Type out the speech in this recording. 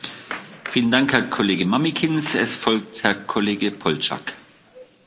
Pane předsedající, já jsem nakonec tuto zprávu nepodpořil, zdržel jsem se.